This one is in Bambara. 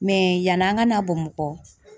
yani an ka na Bamakɔ